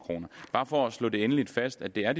bare for at slå endeligt fast at det er